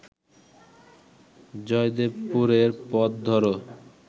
জয়দেবপুরের পথ ধরো